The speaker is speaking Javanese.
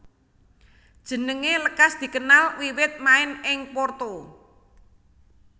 Jenengé lekas dikenal wiwit main ing Porto